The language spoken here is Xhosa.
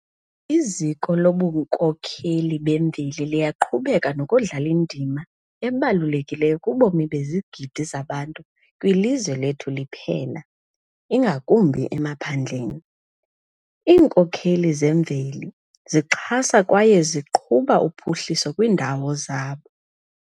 Iziko lobunkokheli bemveli liyaqhubeka nokudlala indima ebalulekileyo kubomi bezigidi zabantu kwilizwe lethu liphela, ingakumbi emaphandleni. Iinkokheli zemveli zixhasa kwaye ziqhuba uphuhliso kwiindawo zabo.